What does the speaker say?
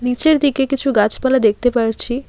নিচের দিকে কিছু গাছপালা দেখতে পারছি।